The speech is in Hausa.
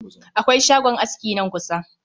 Akwai shagon aski nan kusa